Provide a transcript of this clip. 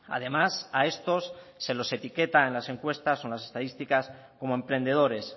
además a estos se los etiqueta en las encuestas o en las estadísticas como emprendedores